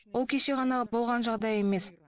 ол кеше ғана болған жағдай емес